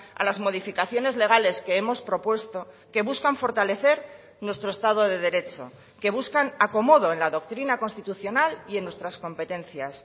a las modificaciones legales que hemos propuesto que buscan fortalecer nuestro estado de derecho que buscan acomodo en la doctrina constitucional y en nuestras competencias